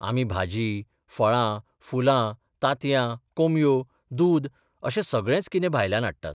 आमी भाजी, फळां, फुलां, तांतयां, कोंबयो, दूद अशें सगळेंच कितें भायल्यान हाडटात.